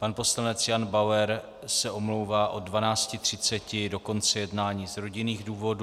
Pan poslanec Jan Bauer se omlouvá od 12.30 do konce jednání z rodinných důvodů.